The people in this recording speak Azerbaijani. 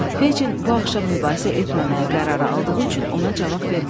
Fecin bu axşam mübahisə etməməyə qərarı aldığı üçün ona cavab vermədi.